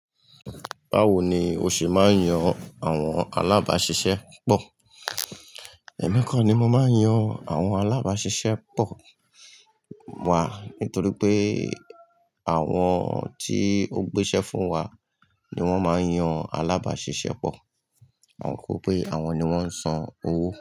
Báwo ni o ṣe máa ń yàn àwọn alabasisẹ pọ? Ẹ̀mi kọ ni mo máa ń yàn àwọn alábáṣiṣẹ́ pọ̀ wá nítorí pé àwọn tí ó gbéṣẹ́ fún wa ni wọ́n máa ń yàn alábáṣiṣẹ́ pọ̀. Torípé àwọn ni wọ́n ń san owó.